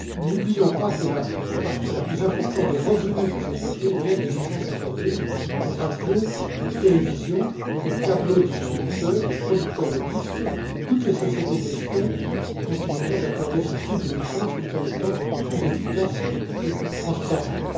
N'oublions pas que la partie la plus importante des revenus des sociétés vient des licences accordées aux radios, aux télévisions, aux câblodistributeurs, aux producteurs de disques. Toutes les sociétés de gestion continueront d'accorder ce type de licences tout en étant plus efficaces et plus transparentes.